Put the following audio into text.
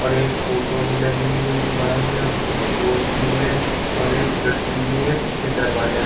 और एक फोटो भी लगी हुई है दीवाल में और स्विच बोर्ड भी है और एक खिड़की भी है पीछे दरवाज़ा भी--